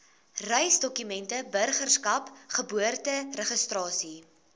reisdokumente burgerskap geboorteregistrasie